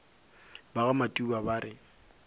ba ga matuba ba re